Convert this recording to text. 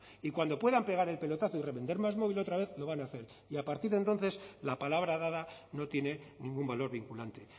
y cuando puedan pegar el pelotazo y revender másmóvil otra vez lo van a hacer y a partir de entonces la palabra dada no tiene ningún valor vinculante